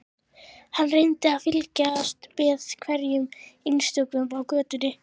Hann reyndi að fylgjast með hverjum einstökum á götunni.